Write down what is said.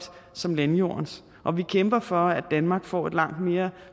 som landjordens og vi kæmper for at danmark får et langt mere